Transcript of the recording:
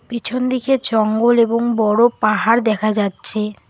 পিছন দিকে জঙ্গল এবং বড় পাহাড় দেখা যাচ্ছে।